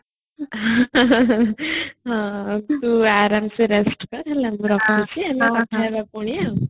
ହଁ ତୁ ଆରମ ସେ rest ନେ ମୁ ରଖୁଛି କଥାହବା ପୁଣି